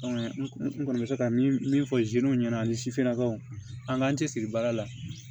n kɔni bɛ se ka min fɔ ɲɛna ani sifinnakaw an k'an cɛ siri baara la